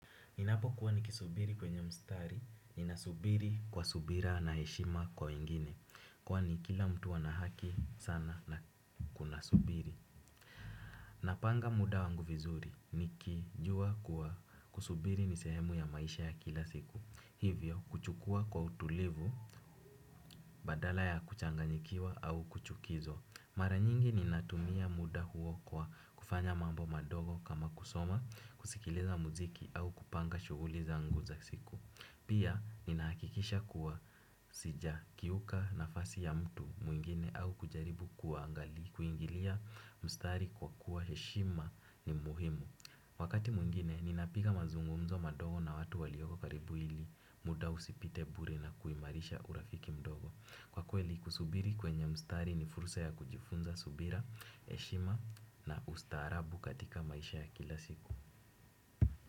Ninapo kuwa nikisubiri kwenye mstari, ninasubiri kwa subira na heshima kwa wengine, kwani kila mtu ana haki sana na kuna subiri. Napanga muda wangu vizuri, nikijua kuwa kusubiri ni sehemu ya maisha ya kila siku, hivyo huchukua kwa utulivu, badala ya kuchanganyikiwa au kuchukizo. Mara nyingi ni natumia muda huo kwa kufanya mambo madogo kama kusoma, kusikiliza muziki au kupanga shughuli zangu za siku. Pia, nina hakikisha kuwa sija kiuka nafasi ya mtu mwingine au kujaribu kuangali. Kuingilia mstari kwa kuwa heshima ni muhimu. Wakati mwingine, ninapiga mazungumzo madogo na watu walioko karibu ili muda usipite bure na kuimarisha urafiki mdogo. Kwa kweli kusubiri kwenye mstari ni fursa ya kujifunza subira, heshima na ustaarabu katika maisha ya kila siku.